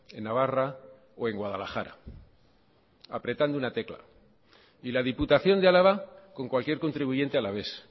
en navarra o en guadalajara apretando una tecla y la diputación de álava con cualquier contribuyente alavés